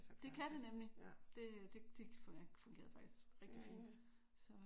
Det kan det nemlig! Det det det fungerede faktisk rigtig fint